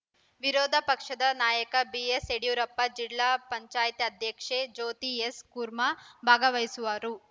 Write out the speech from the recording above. ವಿರೋಧ ಪಕ್ಷದ ನಾಯಕ ಬಿಎಸ್‌ ಯಡಿಯೂರಪ್ಪ ಜಿಲ್ಲಾ ಪಂಚಾಯ್ತ್ ಅಧ್ಯಕ್ಷೆ ಜ್ಯೋತಿ ಎಸ್‌ ಕುರ್ಮ ಭಾಗವಹಿಸುವರು